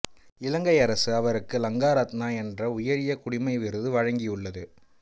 இலங்கை அரசு அவருக்கு லங்காரத்னா என்ற உயரிய குடிமை விருது வழங்கியுள்ளது